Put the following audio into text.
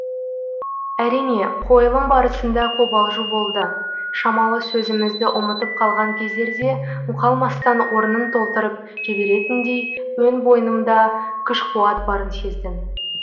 әрине қойылым барысында қобалжу болды шамалы сөзімізді ұмытып қалған кездерде мұқалмастан орнын толтырып жіберетіндей өн бойымда күш қуат барын сездім